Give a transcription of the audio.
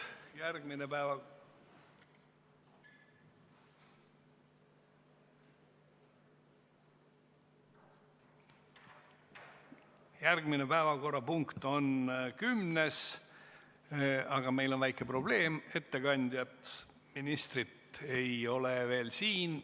Järgmine päevakorrapunkt on nr 10, aga meil on väike probleem: ettekandjat, ministrit, ei ole veel siin.